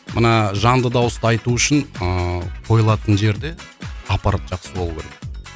мына жанды дауыста айту үшін ыыы қойылатын жерде аппарат жақсы болу керек